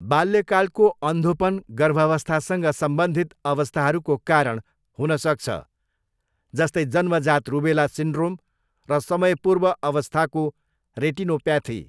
बाल्यकालको अन्धोपन गर्भावस्थासँग सम्बन्धित अवस्थाहरूको कारण हुन सक्छ, जस्तै जन्मजात रुबेला सिन्ड्रोम र समयपूर्व अवस्थाको रेटिनोप्याथी।